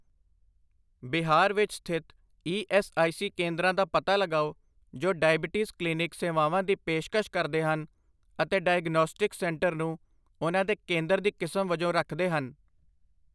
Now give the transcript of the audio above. ਬਿਹਾਰ ਵਿੱਚ ਸਥਿਤ E S I C ਕੇਂਦਰਾਂ ਦਾ ਪਤਾ ਲਗਾਓ ਜੋ ਡਾਇਬੀਟੀਜ਼ ਕਲੀਨਿਕ ਸੇਵਾਵਾਂ ਦੀ ਪੇਸ਼ਕਸ਼ ਕਰਦੇ ਹਨ ਅਤੇ ਡਾਇਗਨੌਸਟਿਕਸ ਸੈਂਟਰ ਨੂੰ ਉਹਨਾਂ ਦੇ ਕੇਂਦਰ ਦੀ ਕਿਸਮ ਵਜੋਂ ਰੱਖਦੇ ਹਨ।